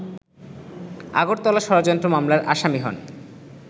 আগরতলা ষড়যন্ত্র মামলার আসামি হন